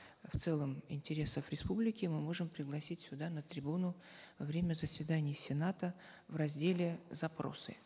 в целом интересов республики мы можем пригласить сюда на трибуну во время заседаний сената в разделе запросы